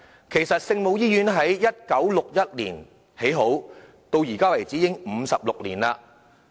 其實聖母醫院在1961年建成，至今已56年。